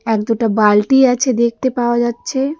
এক-দুটা বালতি আছে দেখতে পাওয়া যাচ্ছে.